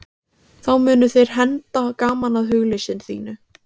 Þá munu þeir henda gaman að hugleysi þínu.